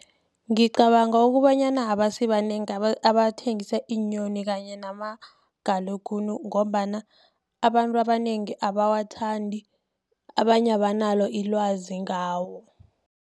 Ngicabanga ukobanyana, abasibanengi abathengisa iinyoni, kanye namagalaguni, ngombana abantu abanengi abawathandi, abanye abanalo ilwazi ngawo.